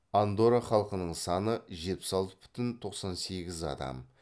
андорра халқының саны жетпіс алты бүтін тоқсан сегіз адам